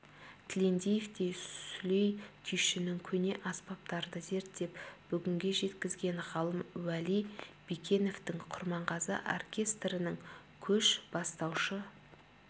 тілендиевтей сүлей күйшінің көне аспаптарды зерттеп бүгінге жеткізген ғалым уәли бекеновтің құрманғазы оркестрінің көш бастаушы